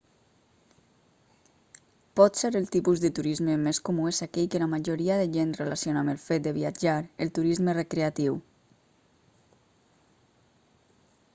potser el tipus de turisme més comú és aquell que la majoria de gent relaciona amb el fet de viatjar el turisme recreatiu